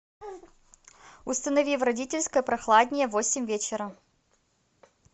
установи в родительской прохладнее в восемь вечера